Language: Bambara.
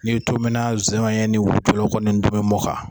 N dumina zɔyɛn ni wulukulu kɔni tobimɔ kan.